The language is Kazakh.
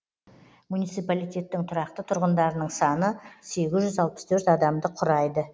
муниципалитеттің тұрақты тұрғындарының саны сегіз жүз алпыс төрт адамды құрайды